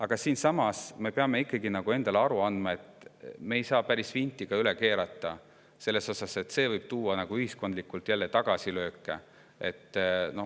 Aga samas peame endale ikkagi aru andma, et me ei saa sellega päris vinti üle keerata, kuna see võib endaga kaasa tuua ühiskondlikke tagasilööke.